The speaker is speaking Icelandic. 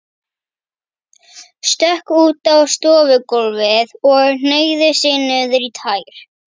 Stökk út á stofugólfið og hneigði sig niður í tær.